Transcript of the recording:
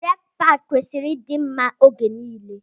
Breki paadi kwesịrị ịdị mma oge nile.